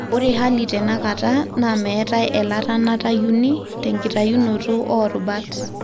Ore hali tenakata naa metae elatanatayuni tenkitayunoto orubat.